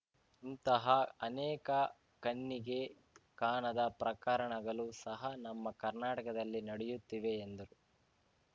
ಇಂತಹ ಅನೇಕ ಕಣ್ಣಿಗೆ ಕಾಣದ ಪ್ರಕರಣಗಲು ಸಹ ನಮ್ಮ ಕರ್ನಾಟಕದಲ್ಲಿ ನಡೆಯುತ್ತಿವೆ ಎಂದರು